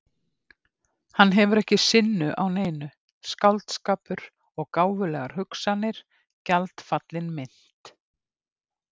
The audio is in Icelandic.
Hann hefur ekki sinnu á neinu, skáldskapur og gáfulegar hugsanir- gjaldfallin mynt.